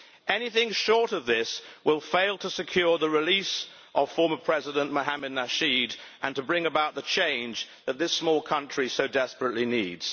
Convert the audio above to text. Anything short of this will fail to secure the release of former President Mohamed Nasheed and to bring about the change that this small country so desperately needs.